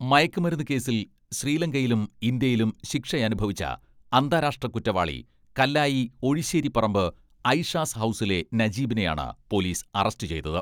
മയക്കുമരുന്ന് കേസിൽ ശ്രീലങ്കയിലും ഇന്ത്യയിലും ശിക്ഷയനുഭവിച്ച അന്താരാഷ്ട്ര കുറ്റവാളി കല്ലായി ഒഴിശേരിപ്പറമ്പ് അയിഷാസ് ഹൗസിലെ നജീബിനെയാണ് പേ പോലീസ് അറസ്റ്റുചെയ്തത്.